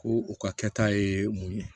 Ko u ka kɛta ye mun ye